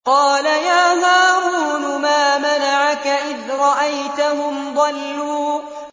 قَالَ يَا هَارُونُ مَا مَنَعَكَ إِذْ رَأَيْتَهُمْ ضَلُّوا